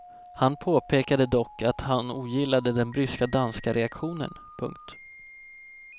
Han påpekade dock att han ogillade den bryska danska reaktionen. punkt